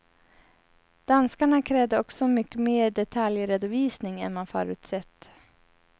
Danskarna krävde också mycket mer detaljredovisning än man förutsett.